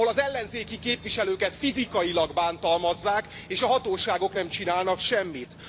Ahol az ellenzéki képviselőket fizikailag bántalmazzák és a hatóságok nem csinálnak semmit.